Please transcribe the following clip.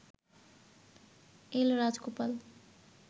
এল Rajagopal